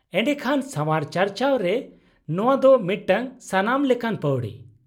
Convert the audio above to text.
-ᱮᱰᱮᱠᱷᱟᱱ ᱥᱟᱣᱟᱨ ᱪᱟᱨᱪᱟᱣ ᱨᱮ ᱱᱚᱶᱟ ᱫᱚ ᱢᱤᱫᱴᱟᱝ ᱥᱟᱱᱟᱢ ᱞᱮᱠᱟᱱ ᱯᱟᱹᱣᱲᱤ ᱾